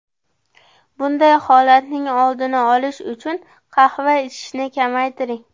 Bunday holatning oldini olish uchun qahva ichishni kamaytiring.